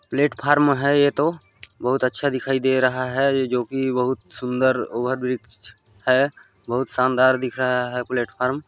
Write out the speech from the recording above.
platform है ये तो बहुत अच्छा दिखाई दे रहा है जोकि बहुत सुन्दर ओवरब्रिज है बहुत शानदार दिख रहा है प्लेटफ़ार्म --